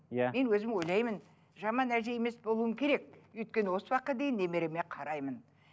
иә мен өзім ойлаймын жаман әже емес болуым керек өйткені осы уақытқа дейін немереме қараймын